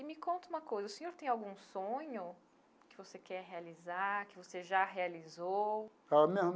E me conta uma coisa, o senhor tem algum sonho que você quer realizar, que você já realizou? Eu não.